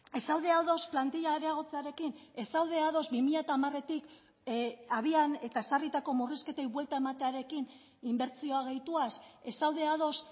ez zaude ados plantila areagotzearekin ez zaude ados bi mila hamaretik abian eta ezarritako murrizketei buelta ematearekin inbertsioa gehituaz ez zaude ados